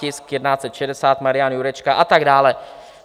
Tisk 1160, Marian Jurečka a tak dále.